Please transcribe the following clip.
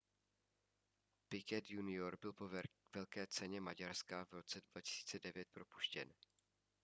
piquet junior byl po velké ceně maďarska v roce 2009 propuštěn